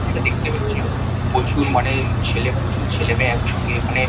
যেটা দেখতে পাচ্ছি মানে প্রচুর মানে প্রচুর ছেলেমেয়ে একসঙ্গে এখানে।